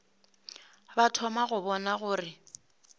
ba thoma go bona gore